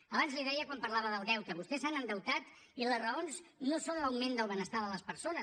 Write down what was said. abans li ho deia quan parlava del deute vostès s’han endeutat i les raons no són l’augment del benestar de les persones